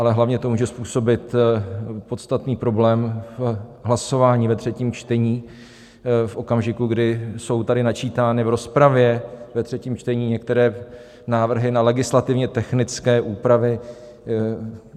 Ale hlavně to může způsobit podstatný problém v hlasování ve třetím čtení v okamžiku, kdy jsou tady načítány v rozpravě ve třetím čtení některé návrhy na legislativně technické úpravy.